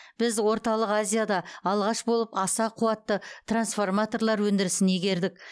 біз орталық азияда алғаш болып аса қуатты трансформаторлар өндірісін игердік